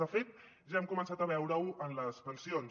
de fet ja hem començat a veure ho en les pensions